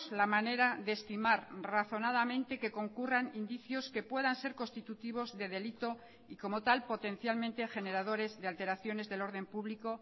la manera de estimar razonadamente que concurran indicios que puedan ser constitutivos de delito y como tal potencialmente generadores de alteraciones del orden público